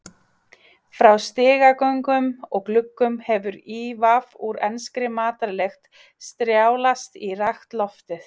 Frá stigagöngum og gluggum hefur ívaf úr enskri matarlykt strjálast í rakt loftið.